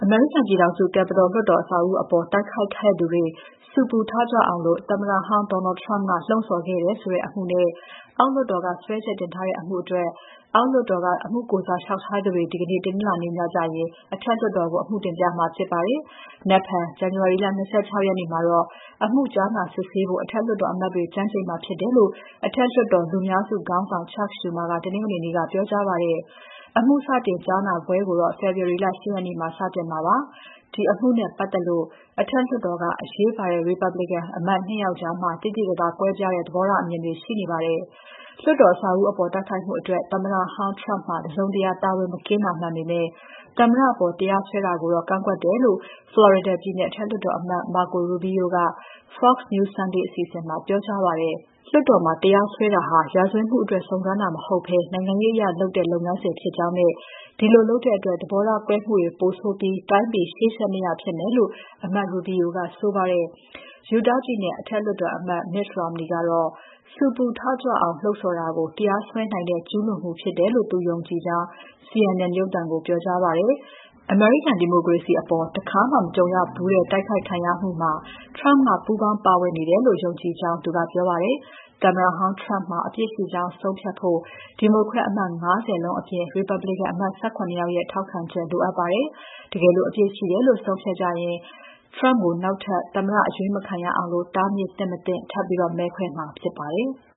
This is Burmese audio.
မေရိကန်ပြည်ထောင်စု Capitol လွှတ်တော်အဆောက်အဦးအပေါ် တိုက်ခိုက်ခဲ့သူတွေ ဆူပူထကြွအောင် သမ္မတဟောင်း Donald Trump က လှုံ့ဆော်ခဲ့တယ်ဆိုတဲ့ အမှုနဲ့ အောက်လွှတ်တော်က စွဲချက်တင်ထားတဲ့ အမှုအတွက် အောက်လွှတ်တော်က အမှုကိုယ်စားလေ ျှာက်ထားသူတွေ ဒီနေ့ တနင်္လာနေ့ညကျရင် အထက်လွှတ်တော်ကို အမှုတင်ပြမှာ ဖြစ်ပါတယ်။ နက်ဖြန် ဇန်နဝါရီလ ၂၆ ရက်နေ့မှာ အမှုကြားနာစစ်ဆေးဖို့ အထက်လွှတ်တော်အမတ်တွေ ကျမ်းကျိန်မှာဖြစ်တယ်လို့ အထက်လွှတ်တော် လူများစုခေါင်းဆောင် Chuck Schumer က တနင်္ဂနွေနေ့က ပြောကြားပါတယ်။ အမှုစတင်ကြားနာပွဲကိုတော့ ဖေဖော်ဝါရီလ ၈ ရက်နေ့မှာ စတင်မှာဖြစ်ပါတယ်။ ဒီအမှုနဲ့ပတ်သက်လို့ အထက်လွှတ်တော်က အရေးပါတဲ့ Republican အမတ် ၂ ယောက်ကြားမှာ သိသိသာသာကွဲပြားတဲ့ သဘောထားအမြင်တွေ ရှိနေကြပါတယ်။ လွှတ်တော်အဆောက်အဦးအပေါ် တိုက်ခိုက်မှုအတွက် သမ္မတဟောင်း Trump မှာ တစုံတရာ တာဝန်မကင်းတာ မှန်ပေမဲ့ သမ္မတအပေါ် တရားစွဲတာကိုတော့ ကန့်ကွက်တယ်လို့ Florida ပြည်နယ် အထက်လွှတ်တော်အမတ် Marco Rubio က Fox News Sunday အစီအစဉ်မှာ ပြောကြားပါတယ်။ လွှတ်တော်မှာ တရားစွဲတာဟာ ရာဇဝတ်မှုအတွက် စုံစမ်းတာမဟုတ်ဘဲ နိုင်ငံရေးအရလုပ်တဲ့ လုပ်ငန်းစဉ်ဖြစ်ကြောင်းနဲ့ ဒီလိုလုပ်တဲ့အတွက် သဘောထားကွဲမှုတွေ ပိုဆိုးပြီး တိုင်းပြည်ရှေ့ဆက် မရဖြစ်လိမ့်မယ်လို့ အမတ် Rubio ကဆိုပါတယ်။ Utah ပြည်နယ်က အထက်လွှတ်တော်အမတ် Mitt Romney ကတော့ ဆူပူထကြွအောင် လှုံ့ဆော်တာကို တရားစွဲနိုင်တဲ့ ကျူးလွန်မှုဖြစ်တယ်လို့ သူယုံကြည်ကြောင်း CNN ရုပ်သံကို ပြောကြားခဲ့ပါတယ်။ အမေရိကန်ဒီမိုကရေစီအပေါ် တခါမှ မကြုံခဲ့ဖူးတဲ့ တိုက်ခိုက်ခံရမှုမှာ Trump က ပူးပေါင်းပါဝင်နေတယ်လို့ ယုံကြည်ကြောင်း သူကပြောပါတယ်။ သမ္မတဟောင်း Trump မှာ အပြစ်ရှိကြောင်း ဆုံးဖြတ်ဖို့ Democrat အမတ် ၅၀ လုံးအပြင် Republican အမတ် ၁၇ ယောက်ရဲ့ ထောက်ခံချက် လိုအပ်ပါတယ်။ တကယ်လို့ အပြစ်ရှိတယ်လို့ ဆုံးဖြတ်ကြတယ်ဆိုရင် Trump ကိုနောက်ထပ် သမ္မတအရွေးမခံရအောင် တားမြစ်သင့်၊ မသင့် ထပ်ပြီး မဲခွဲမှာဖြစ်ပါတယ်။